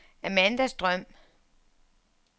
Amanda Strøm